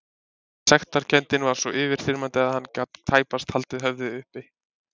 Sektarkenndin var svo yfirþyrmandi að hann gat tæpast haldið höfðinu uppi.